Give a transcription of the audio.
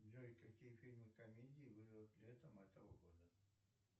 джой какие фильмы комедии выйдут летом этого года